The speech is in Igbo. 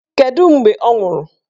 Kedụ mgbe ọ nwụrụ?